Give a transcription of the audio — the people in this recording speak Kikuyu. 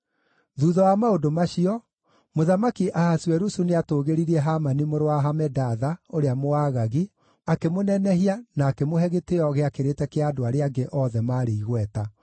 Thuutha wa maũndũ macio, Mũthamaki Ahasuerusu nĩatũũgĩririe Hamani mũrũ wa Hamedatha, ũrĩa Mũagagi, akĩmũnenehia na akĩmũhe gĩtĩĩo gĩakĩrĩte kĩa andũ arĩa angĩ othe maarĩ igweta.